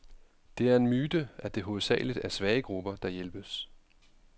Det er en myte, at det hovedsageligt er svage grupper, der hjælpes.